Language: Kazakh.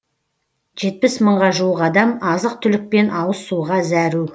жетпіс мыңға жуық адам азық түлік пен ауыз суға зәру